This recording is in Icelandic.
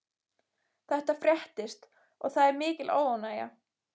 Þetta fréttist og það er mikil óánægja.